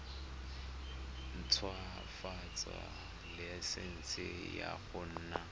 ntshwafatsa laesense ya go nna